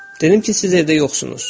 Dedim ki, siz evdə yoxsunuz.